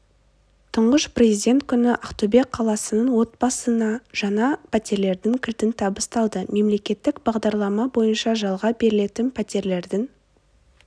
тұңғыш президент күні ақтөбе қаласының отбасына жаңа птерлердің кілті табысталды мемлекеттік бағдарлама бойынша жалға берілетін птерлердің